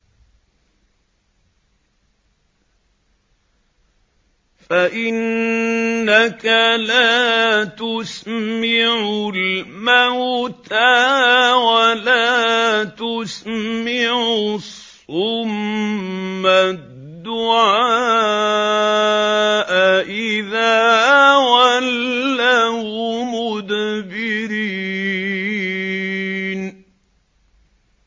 فَإِنَّكَ لَا تُسْمِعُ الْمَوْتَىٰ وَلَا تُسْمِعُ الصُّمَّ الدُّعَاءَ إِذَا وَلَّوْا مُدْبِرِينَ